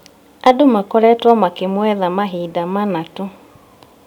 Andũ makoretwo makĩmũetha mahinda mana tu